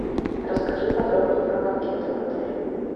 расскажи подробнее про банкеты в отеле